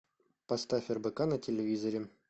поставь рбк на телевизоре